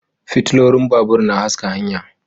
Fitilolin babur na haska hanya